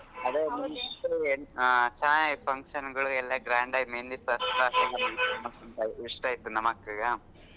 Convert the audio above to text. ಅದೇ ಹಾ ಚೆನಾಗಿತ್ function ಗಳೆಲ್ಲ grand ಆಗಿ मेहँदी ಶಾಸ್ತ್ರ ಇಷ್ಟ ಆಯ್ತು ನಮ್ ಅಕ್ಕಗ